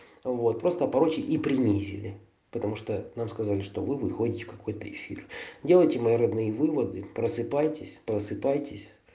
вот просто проще и предложили потому что нам сказали что вы выходите какой-то эфир делайте мои родные выводы просыпайтесь просыпайтесь